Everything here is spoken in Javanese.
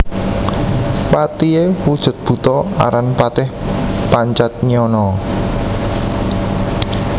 Patihé wujud buta aran Patih Pancatnyana